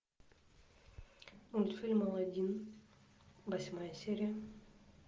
мультфильм алладин восьмая серия